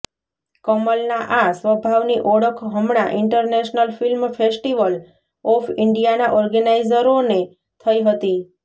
કમલના આ સ્વભાવની ઓળખ હમણાં ઇન્ટરનૅશનલ ફિલ્મ ફેસ્ટિવલ ઑફ ઇન્ડિયાના ઑર્ગેનાઇઝરોને થઈ હતી